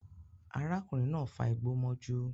Arákùnrin náà fa igbó mọ́jú